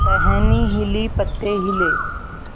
टहनी हिली पत्ते हिले